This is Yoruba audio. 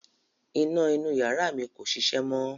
Iná inú ìyàrá mi kò ṣiṣẹ́ mọ̀